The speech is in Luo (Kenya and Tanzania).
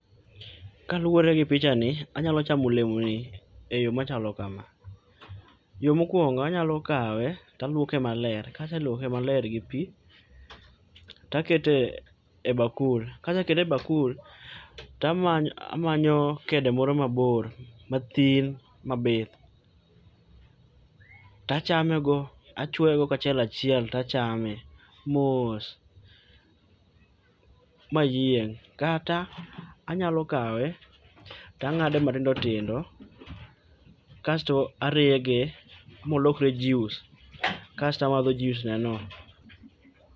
Kaluoregi picha ni anyalo chamo olemoni eyoo machalo kama, yoo mokuongo anyalo kawe to luoke maler kase luoke maler gi pii, to akete ebakul kase kete e bakul to amanyo amanyo kede moro mabor mathin mabith to achamego achuoyego ka achiel achiel to achame mos mayieng'.Kata anyalo kawe to ang'ade matindo tindo kasto arege molokre juice kasto amadho juiceneno